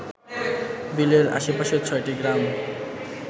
বিলের আশেপাশের ছয়টি গ্রাম